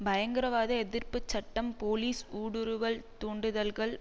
பயங்கரவாத எதிர்ப்பு சட்டம் போலீஸ் ஊடுருவல் தூண்டுதல்கள்